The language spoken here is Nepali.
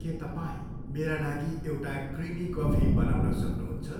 के तपाईँ मेरा लागि एउटा क्रिमी कफी बनाउन सक्नुहुन्छ?